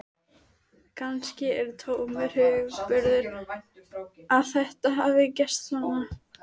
Kannski er það tómur hugarburður að þetta hafi gerst svona.